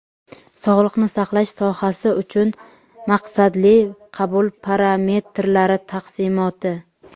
Sog‘liqni saqlash sohasi uchun maqsadli qabul parametrlari taqsimoti.